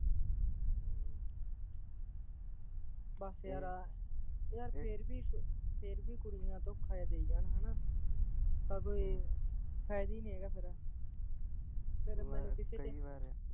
ਬਸ ਯਾਰਾਂ ਯਾਰ ਫੇਰ ਵੀ, ਫੇਰ ਵੀ ਕੁੜੀਆ ਧੋਖਾ ਜਿਹਾ ਦਈ ਜਾਣ ਹੈਨਾ ਤਾਂ ਕੋਈ ਫਾਇਦਾ ਨੀ ਹੈਗਾ ਫਿਰ ਫਿਰ ਮੇਰਾ ਕਿਸੀ ਤੇ